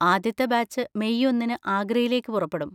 ആദ്യത്തെ batch May ഒന്നിന് ആഗ്രയിലേക്ക് പുറപ്പെടും.